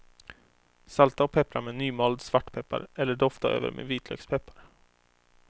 Salta och peppra med nymald svartpeppar, eller dofta över med vitlökspeppar.